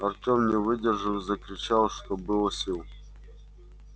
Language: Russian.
артём не выдержал и закричал что было сил